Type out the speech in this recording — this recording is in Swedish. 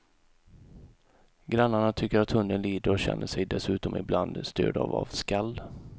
Grannarna tycker att hunden lider och känner sig dessutom ibland störda av skall.